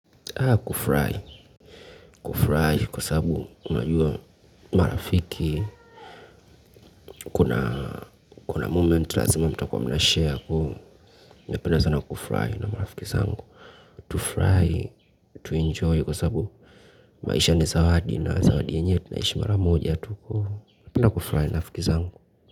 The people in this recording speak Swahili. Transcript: Haa kufry, kufry kwa sababu unajua marafiki, kuna momement lazima mtakuwa mnashare, napenda sana kufurahi na marafiki zangu, tufurahi tu enjoy kwa sababu maisha ni sawa hadi na zawadi yenyewe tunaishi mara moja tu.